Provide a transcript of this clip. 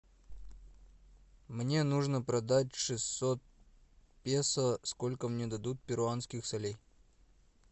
мне нужно продать шестьсот песо сколько мне дадут перуанских солей